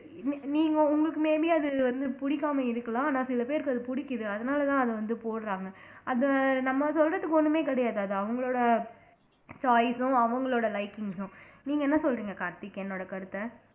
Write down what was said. நீ நீங்க உங்களுக்கு may be அது வந்து பிடிக்காம இருக்கலாம் ஆனா சில பேருக்கு அது பிடிக்குது அதனாலதான் அதை வந்து போடுறாங்க அது நம்ம சொல்றதுக்கு ஒண்ணுமே கிடையாது அது அவங்களோட choice ம் அவங்களோட likings உம் நீங்க என்ன சொல்றீங்க கார்த்திக் என்னோட கருத்த